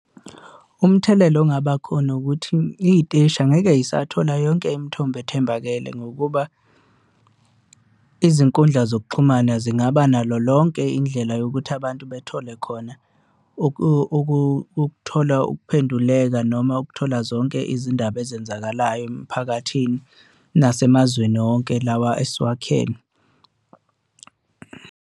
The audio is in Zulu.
Umthelela ongabakhona ukuthi iy'teshi angeke y'sathola yonke imithombo ethembakele ngokuba izinkundla zokuxhumana zingaba nalo lonke indlela yokuthi abantu bethole khona ukuthola ukuphenduleka, noma ukuthola zonke izindaba ezenzakalayo emphakathini nasemazweni wonke lawa esiwakhele.